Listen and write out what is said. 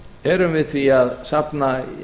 erum við því að safna